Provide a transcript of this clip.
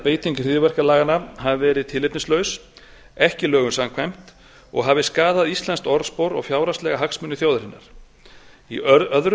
beiting hryðjuverkalaganna hafi verið tilefnislaus ekki lögum samkvæmt og hafi skaðað íslenskt orðspor og fjárhagslega hagsmuni þjóðarinnar í öðru